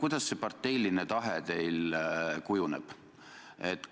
Kuidas see parteiline tahe teil kujuneb?